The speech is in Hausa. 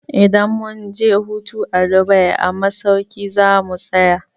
Idan mun je hutu a Dubai a masauki za mu tsaya.